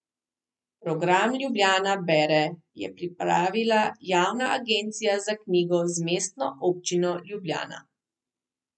Program Ljubljana bere je pripravila javna agencija za knjigo z Mestno občino Ljubljana.